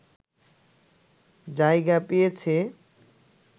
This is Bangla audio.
জায়গা পেয়েছে